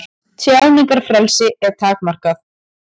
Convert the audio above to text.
Tjáningarfrelsi er takmarkað